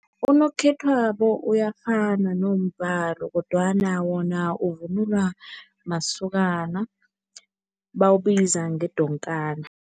Unokhethwabo uyafana nombhalo kodwana wona uvunulwa masokana, bawubiza ngedonkana.